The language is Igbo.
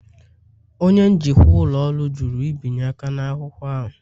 Onye njikwa ụlọ ọrụ jụrụ ibinye aka n'akwụkwọ ahụ.